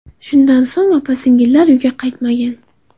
Shundan so‘ng opa-singillar uyga qaytmagan.